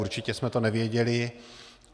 Určitě jsme to nevěděli.